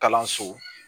Kalanso